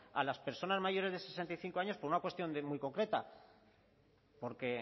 a las personas mayores de sesenta y cinco años por una cuestión muy concreta porque